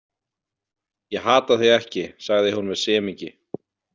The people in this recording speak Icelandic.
Ég hata þig ekki, sagði hún með semingi.